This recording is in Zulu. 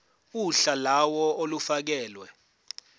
uhla lawo olufakelwe